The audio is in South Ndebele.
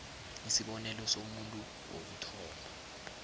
isibonelo somuntu wokuthoma